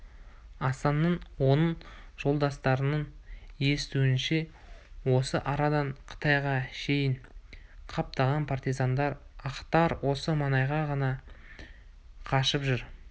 асанның оның жолдастарының естуінше осы арадан қытайға шейін қаптаған партизандар ақтар осы маңайда ғана қашып жүр